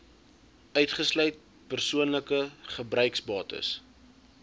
uitgesluit persoonlike gebruiksbates